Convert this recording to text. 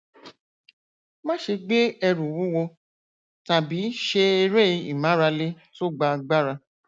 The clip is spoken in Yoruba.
máṣe gbé ẹrù wúwo tàbí ṣe eré ìmárale tó gba agbára